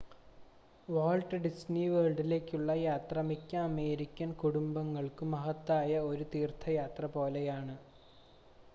Walt Disney വേൾഡിലേക്കുള്ള യാത്ര മിക്ക അമേരിക്കൻ കുടുംബങ്ങൾക്കും മഹത്തായ ഒരു തീർത്ഥയാത്ര പോലെയാണ്